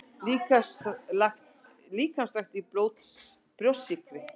Líkamsrækt í Brjóstsykri